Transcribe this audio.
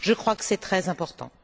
Je crois que c'est très important.